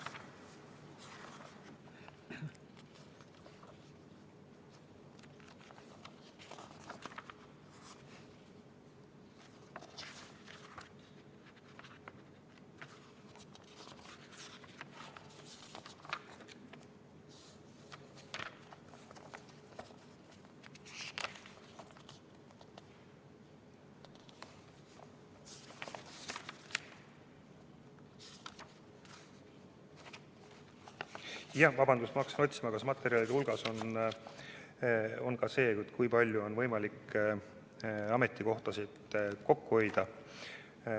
Vabandust, ma hakkasin otsima, kas materjalide hulgas on ka see, kui palju on võimalik ametikohtasid kokku hoida.